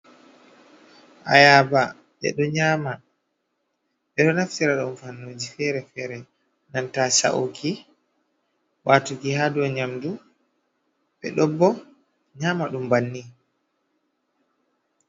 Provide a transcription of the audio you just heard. Ayaba ɓeɗo nyama ɓe ɗo naftira ɗum fannuji fere-fere nanta sha’uki, watugi ha dou nyamdu, ɓeɗo nyama ɗum bannin.